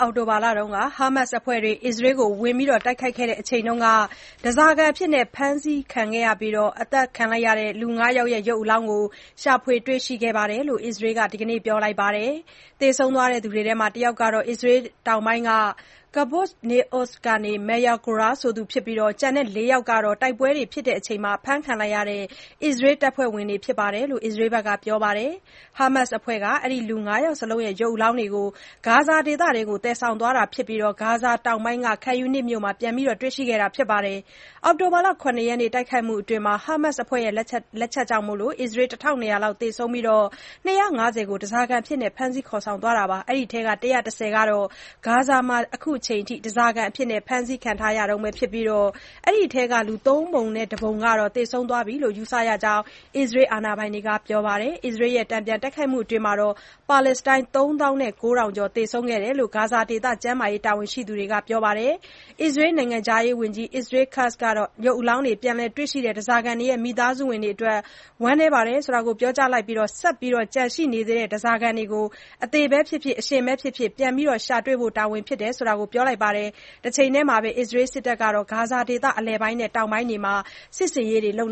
အောက်တိုဘာလက ဟာမတ်စ်အဖွဲ့တွေက အစ္စရေးကို တိုက်ခိုက်ခဲ့တုန်းက ဓါးစာခံအဖြစ်ဖမ်းဆီးပြီး သတ်ခံလိုက်ရတဲ့သူ ၅ ယောက်ရဲ့ ရုပ်အလောင်းတွေကို ရှာဖွေတွေရှိခဲ့တယ်လို့ အစ္စရေးက ဒီနေ့ ပြောလိုကပါတယ်။ သေဆုံးသွားတဲ့သူတွေထဲက တယောက်ကတော့ အစ္စရေးတောင်ပိုင်းက Kibbutz Nir Oz မြို့က Maya Goren ဖြစ်ပြီး ကျန်တဲ့ ၄ ယောက်ကတော့ တိုက်ပွဲအတွင်း ဖမ်းခံလိုက်ရတဲ့ အစ္စရေးတပ်ဖွဲ့ဝင်တွေဖြစ်တယ်လို့ အစ္စရေးစစ်တပ်က ပြောပါတယ်။ ဟာမတ်စ်အဖွဲ့က အဲဒီ လူ ၅ ယောက်စလုံးရဲ့ ရုပ်အလောင်းတွေကို ဂါဇာဒေသထဲကို သယ်ဆောင်သွားတာဖြစ်ပြီး၊ ဂါဇာတောင်ပိုင်းက Khan Younis မြို့မှာ ပြန်လည်တွေ့ရှိခဲ့တာဖြစ်တယ်လို့ ပြောပါတယ်။ အောက်တိုဘာ ၇ ရက် တိုက်ခိုက်မှုအတွင်း ဟားမတ်စ်အဖွဲ့ရဲ့ လက်ချက်ကြောင့် ၁၂၀၀ လောက် သေဆုံးပြီး ၂၅၀ ကို ဓါးစာခံအဖြစ် ဖမ်းသွားခဲ့တာပါ။ အဲဒီထဲက ၁၁၀ ကတော့ ဂါဇာမှာ အခုချိန်ထိ ဓါးစာခံအဖြစ် ဖမ်းဆီးခံထားရတုန်းပဲဖြစ်ပြီး၊အဲဒီထဲက ၃ ပုံ ၁ ပုံကတော့ သေဆုံးသွားပြီလို့ ယူဆရကြောင်း အစ္စရေးတာဝန်ရှိသူတွေက ပြောပါတယ်။ အစ္စရေးက တန်ပြန်တိုက်ခိုက်မှုအတွင်း ပါလက်စတိုင်း ၃ သောင်း ၉ ထောင်ကျော် သေဆုံးခဲ့တယ်လို့ ဂါဇာဒေသ ကျန်းမာရေးတာဝန်ရှိသူတွေက ပြောပါတယ်။ အစ္စရေးနိုင်ငံခြားရေးဝန်ကြီး Israel Katz ကတော့ ရုပ်အလောင်းတွေ ပြန်လည်တွေ့ရှိတဲ့ ဓါးစားခံတွေရဲ့မိသားစုဝင်တွေအတွက် ဝမ်းနည်းကြောင်း ပြောကြားလိုက်ပြီး၊ ဆက်ပြီးတော့ ကျန်ရှိနေသေးတဲ့ ဓါးစာခံတွေကို အသေဘဲဖြစ်ဖြစ် အရှင်ဘဲဖြစ်ဖြစ် ပြန်ရှာတွေဖို့က တာဝန်ဖြစ်တယ်လို့ ပြောလိုက်ပါတယ်။ တချိန်တည်းမှာပဲ အစ္စရေးစစ်တပ်ဟာ ဂါဇာဒေသ အလယ်ပိုင်း နဲ့ တောင်ပိုင်းတွေမှာစစ်ဆင်ရေးတွေလုပ်